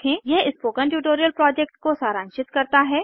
यह spoken tutorial project को सारांशित करता है